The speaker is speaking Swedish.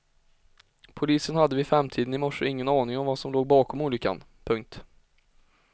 Polisen hade vid femtiden i morse ingen aning om vad som låg bakom olyckan. punkt